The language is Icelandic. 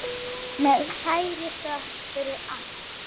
Með kærri þökk fyrir allt.